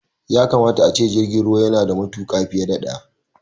Yakamata ace jirgi yana da matuƙa biye da ɗaya.